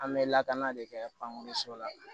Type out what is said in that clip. An bɛ lakana de kɛ bange so la